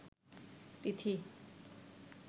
তিথি